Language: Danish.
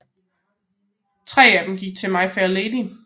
Tre af dem gik til My Fair Lady